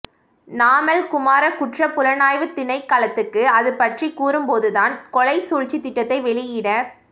நாமல் குமார குற்றப் புலனாய்வுத் திணைக்களத்துக்கு அது பற்றிக் கூறும்போது தான் கொலை சூழ்ச்சித் திட்டத்தை வெளியிடத்